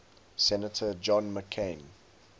senator john mccain